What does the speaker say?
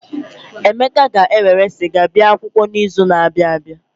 Emeka ga-ewerụ sịga bia akwụkwọ n'izu na-abịa.